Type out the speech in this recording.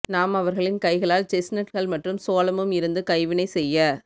நாம் அவர்களின் கைகளால் செஸ்நட்கள் மற்றும் சோளமும் இருந்து கைவினை செய்ய